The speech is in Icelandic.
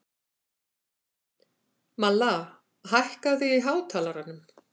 Malla, hækkaðu í hátalaranum.